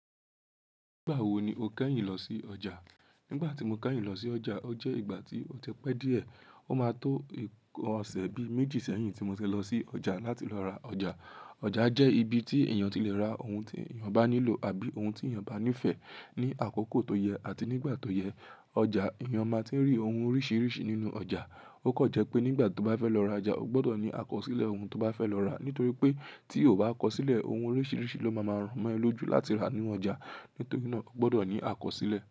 Nígbà wo ni o kẹ́yìn lọ sí ọjà? Nígbà tí mo kẹ́yìn lọ sí ọjà, ó jẹ́ ìgbà tí ó ti pe díẹ̀. Ó máa tó nkan ose bíi méjì sẹ́yìn tí mo ti fẹ́ lọ sí ọjà láti lọ ra ọjà. Ọjà jẹ́ ibi tí èèyàn ti le ra ohun tí èèyàn bá nílò àbí ohun tí èèyàn bá nífẹ̀ẹ́ ní àkókò tó yẹ àti nígbà tó yẹ. Ọjà, èèyàn máa tun rí ohun oríṣiríṣi nínú ọjà. Ó kan jẹ́ pé nígbà tí o bá fẹ́ lọ ra ọjà, o gbọdọ̀ ní àkọsílẹ̀ ohun tí o bá fẹ́ lọ rà. Nítorí pé tí o ba kọ sílẹ̀, ohun oríṣiríṣi ló máa máa ràn mọ́ e lójú láti rà nínú ọjà. Nítorí náà, o gbọdọ̀ ní àkọsílẹ̀.